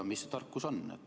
Mis see tarkus on?